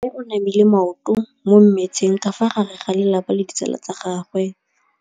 Mme o namile maoto mo mmetseng ka fa gare ga lelapa le ditsala tsa gagwe.